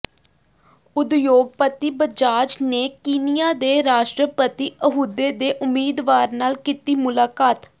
ਉਦਯੋਗਪਤੀ ਬਜਾਜ ਨੇ ਕੀਨੀਆ ਦੇ ਰਾਸ਼ਟਰਪਤੀ ਅਹੁਦੇ ਦੇ ਉਮੀਦਵਾਰ ਨਾਲ ਕੀਤੀ ਮੁਲਾਕਾਤ